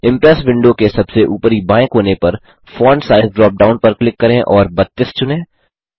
impress window के सबसे ऊपरी बाएँ कोने पर फोंट साइज ड्रॉप डाउन पर क्लिक करें और 32 चुनें